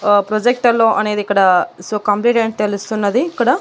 ఆ ప్రొజెక్టర్లో అనేది ఇక్కడ సో కంప్యూటర్ అని తెలుస్తున్నది ఇక్కడ--